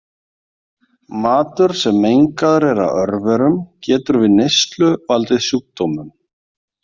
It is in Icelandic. Matur sem mengaður er af örverum getur við neyslu valdið sjúkdómum.